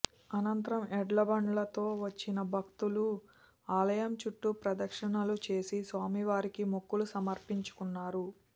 అనంతరం ఎడ్లబండ్లతో వచ్చిన భక్తులు ఆలయం చుట్టూ ప్రదక్షిణలు చేసి స్వామివారికి మొక్కులు సమర్పించుకున్నారు